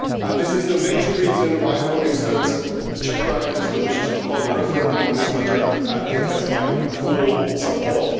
That is the main reason why, for instance, the Czech Prime Minister wishes to call a referendum on this matter, which has my full support.